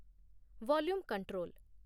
volume control